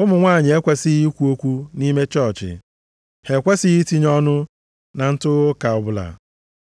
Ụmụ nwanyị ekwesighị ikwu okwu nʼime chọọchị. Ha ekwesighị itinye ọnụ na ntụgha ụka ọbụla,